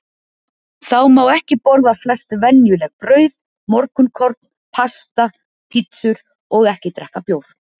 Þá má ekki borða flest venjuleg brauð, morgunkorn, pasta, pizzur og ekki drekka bjór.